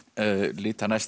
líta næst